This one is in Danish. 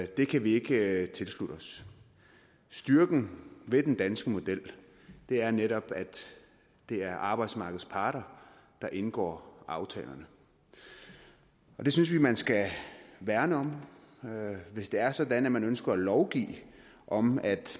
det kan vi ikke tilslutte os styrken ved den danske model er netop at det er arbejdsmarkedets parter der indgår aftalerne det synes vi at man skal værne om hvis det er sådan at man ønsker at lovgive om at